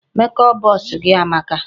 Make up box gị amaka.